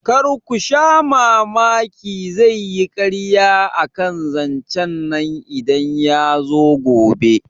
Karku sha mamaki zaiyi karya akan zancen nan idan yazo gobe